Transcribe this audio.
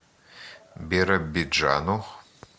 биробиджану